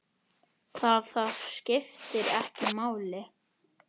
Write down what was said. Það, það skiptir ekki máli?